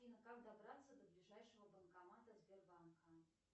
афина как добраться до ближайшего банкомата сбербанка